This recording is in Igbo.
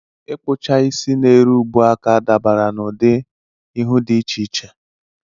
Ịkpụcha isi n'eru ubuaka dabara n'ụdị ihu dị iche iche.